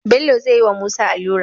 Bello zayi wa musa alura